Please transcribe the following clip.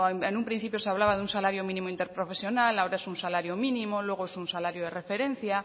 en un principio se hablaba de un salario mínimo interprofesional ahora es un salario mínimo luego es un salario de referencia